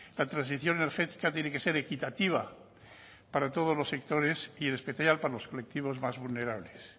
la transición energética tiene que ser equitativa para todos los sectores y en especial para los colectivos más vulnerables